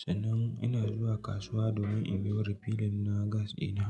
sannan ina zuwa kasuwa domin in biyo refilling na gas dina.